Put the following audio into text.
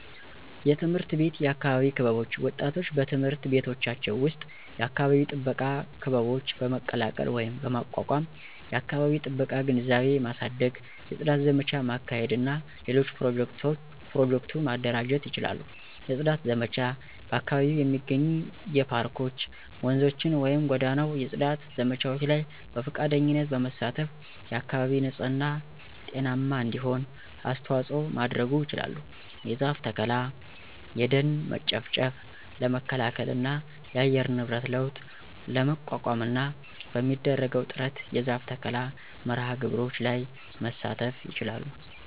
_የትምህርት ቤት የአካባቢ ክበቦች ወጣቶች በትምህርት ቤቶቻቸው ዉስጥ የአካባቢ ጥበቃ ክበቦች በመቀላቀል ወይም በማቋቋም የአከባቢ ጥበቃ ግንዛቤ ማሳደግ፣ የጽዳት ዘመቻ ማካሄድ እና ሌሎች ኘሮጀክቱ ማደራጀት ይችላሉ። የጽዳት ዘመቻ በአካባቢው የሚገኙ የፓርኮች፣፧ ወንዞችን ወይም ጎዳናው የጽዳት ዘመቻዎች ላይ በፈቃደኝነት በመሳተፍ አካባቢ ንጽህና ጤናማ እንዲሆን አስተዋጽኦ ማድረጉ ይችላል። የዛፍ ተከላ። የደን መጨፍጨፍ ለመከላከል እና የአየር ንብረት ለውጥ ለመቋቋምና በሚደረገው ጥረት የዛፍ ተከላ መርሐ ግብሮች ላይ መሳተፍ ይችላል